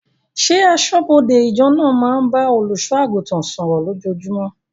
Ṣé aṣọ́bọdè ìjọ naa máa ń bá olùsọ àgùntàn sọ̀rọ̀ lójojúmó?